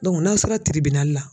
n'a sera la.